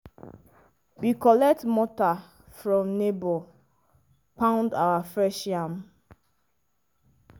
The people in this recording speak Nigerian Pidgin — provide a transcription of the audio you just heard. we collect mortar from neighbour pound our fresh yam.